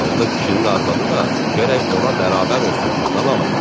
Ağıllı kişinin arvadı da gərək ona bərabər olsun, qadan alım.